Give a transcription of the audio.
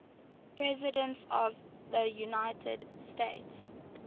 presidents of the united states